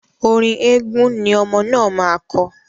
Orin eégun ni ọmọ náà máa kọ..